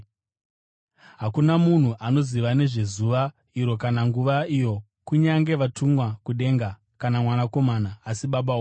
“Hakuna munhu anoziva nezvezuva iro kana nguva iyo, kunyange vatumwa kudenga, kana Mwanakomana, asi Baba voga.